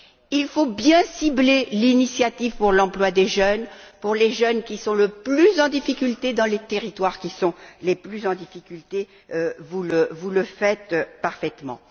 Il faut bien cibler l'initiative pour l'emploi des jeunes, destinée à ceux qui sont le plus en difficulté, dans les territoires qui sont le plus en difficulté, et vous le faites parfaitement.